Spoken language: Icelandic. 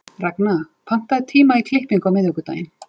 Ragna, pantaðu tíma í klippingu á miðvikudaginn.